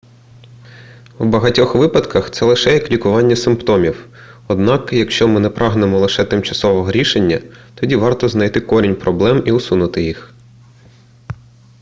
в багатьох випадках це лише як лікування симптомів однак якщо ми не прагнемо лише тимчасового рішення тоді варто знайти корінь проблем і усунути їх